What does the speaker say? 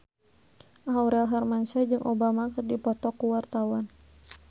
Aurel Hermansyah jeung Obama keur dipoto ku wartawan